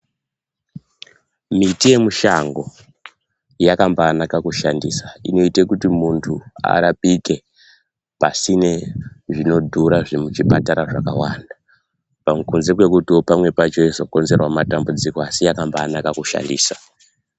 Miti yemushango yakambanaka kushandisa inoite kuti muntu arapike pasine zvinodhura zvemuchipatara zvakawanda pamwe kunze kwekutiwo pamwe pacho yeizokonzerawo matambudziko asi yakambanaka kushandisa.